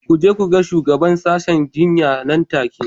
Ku je ku ga shugaban sashen jinya nan take